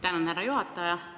Tänan, härra juhataja!